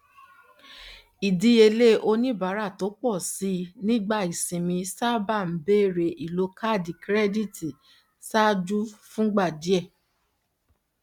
ìdíyelé oníbàárà tó pọ síi nígbà ìsinmi sábà ń bẹrẹ ìlò kaádì kirẹdítì ṣáájú fún ìgbà díè